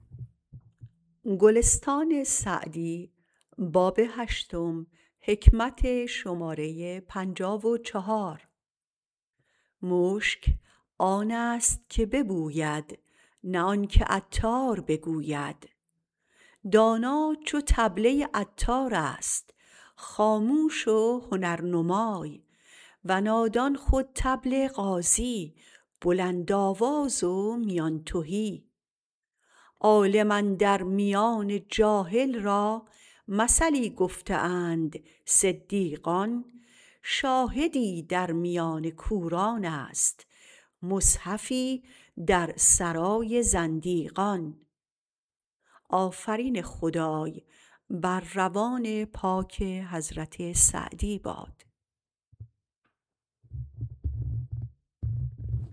مشک آن است که ببوید نه آن که عطار بگوید دانا چو طبله عطار است خاموش و هنرنمای و نادان خود طبل غازی بلندآواز و میان تهی عالم اندر میان جاهل را مثلی گفته اند صدیقان شاهدی در میان کوران است مصحفی در سرای زندیقان